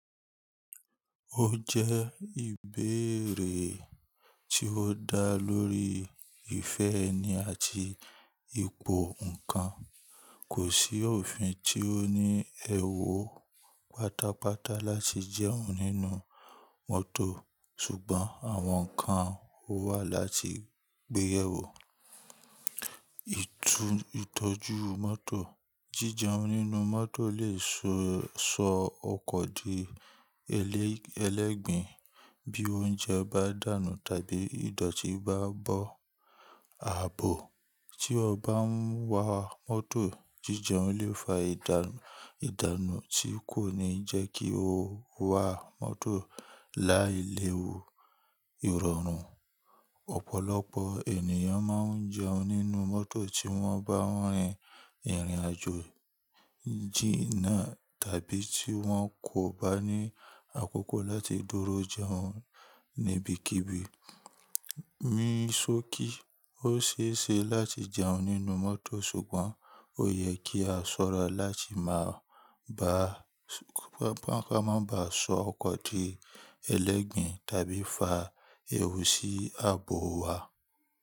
Ó jẹ́ ìbéèrè tí ó dá lórí ìfẹ́ ẹni àti ipò ǹkan. Kò sí òfin tí ó ní èwo pátápátá láti jẹun nínú mọ́tò, ṣùgbọ́n àwọn ǹkan ó wà láti gbé yẹ wò. Jíjẹun nínú mọ́tò lè sọ ọkọ̀ di ẹlẹgbin bí oúnjẹ bá dànù tàbí ìdọ̀tí bá bọ ààbò. Tí o bá ń wa mọ́tò, jíjẹun lè fa ìdànù tí kò ní jẹ́ kí o wà mọ́tò láì léwu ìrọ̀rùn. Ọ̀pọ̀lọpọ̀ ènìyàn máa ń jẹun nínú mọ́tò tí wọ́n bá rin ìrìnàjò jìnà tàbí tí wọ́n kò bá ní àkókò láti dúró jẹun níbikíbi. Ní sókí, óṣeeṣe láti jẹun nínú mọ́tò, ṣùgbọ́n ó yẹ kí a ṣọ́ra láti má ba à sọ ọkọ̀ di ẹlẹgbin tàbí fa ewu sí ààbò wa.